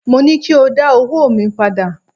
Mo ní kí o dá owóò mi padà!